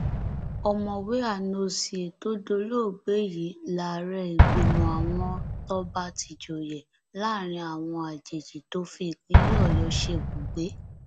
ọmọwé anozie tó dolóògbé yìí láàrẹ ìgbìmọ àwọn tọba tijọye láàrin àwọn ajèjì tó fi ìpínlẹ ọyọ ṣebùgbé